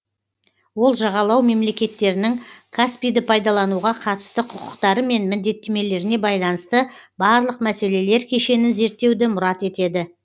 ол жағалау мемлекеттерінің каспийді пайдалануға қатысты құқықтары мен міндеттемелеріне байланысты барлық мәселелер кешенін зерттеуді мұрат етеді